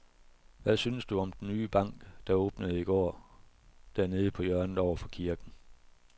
Hvad synes du om den nye bank, der åbnede i går dernede på hjørnet over for kirken?